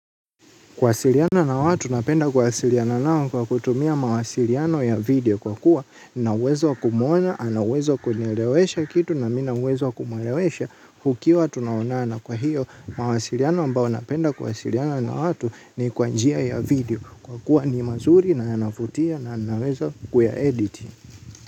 Kuwasiliana na watu napenda kuwasiliana nao kwa kutumia mawasiliano ya video kwa kuwa. Na uwezo wa kumuona, ana uwezo wa kunielewesha kitu na mimi nina uwezo wa kumuelewesha tukiwa tunaonana kwa hiyo, mawasiliano ambao napenda kuwasiliana na watu ni kwa njia ya video kwa kuwa ni mazuri na yanavutia na naweza kuya edit.